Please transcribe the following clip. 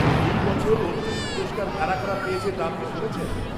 -এই বছর অর্জুন পুরস্কার কারা কারা পেয়েছে তা আপনি শুনেছেন?